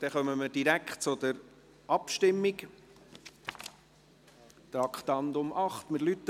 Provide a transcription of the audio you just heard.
Somit kommen wir direkt zur Abstimmung, Traktandum 8.